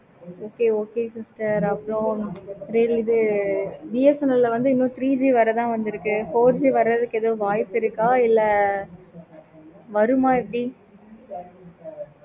okay okay sister அப்பறம் வேற BSNL வந்து three G வரைக்கு தான் இருக்கு. four G இன்னும் வரல. வருமா எப்படி?